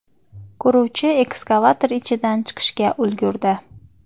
Quruvchi ekskavator ichidan chiqishga ulgurdi.